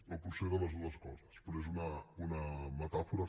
o potser de les dues coses però és una metàfora